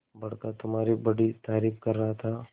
बड़का तुम्हारी बड़ी तारीफ कर रहा था